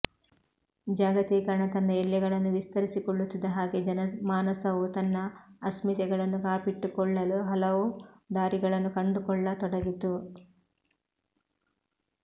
ಜಾಗತೀಕರಣ ತನ್ನ ಎಲ್ಲೆಗಳನ್ನು ವಿಸ್ತರಿಸಿಕೊಳ್ಳುತ್ತಿದ್ದ ಹಾಗೆ ಜನಮಾನಸವೂ ತನ್ನ ಅಸ್ಮಿತೆಗಳನ್ನು ಕಾಪಿಟ್ಟುಕೊಳ್ಳಲು ಹಲವು ದಾರಿಗಳನ್ನು ಕಂಡುಕೊಳ್ಳತೊಡಗಿತು